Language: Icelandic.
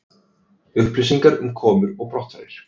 Upplýsingar um komur og brottfarir